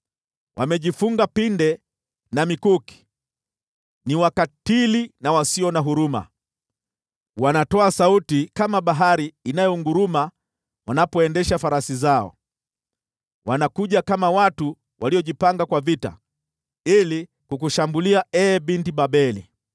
Wamejifunga pinde na mikuki; ni wakatili na wasio na huruma. Wanatoa sauti kama bahari inayonguruma wanapoendesha farasi zao; wanakuja kama watu waliojipanga tayari kwa vita ili kukushambulia, ee Binti Babeli.